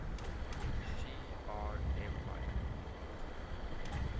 shi ar empire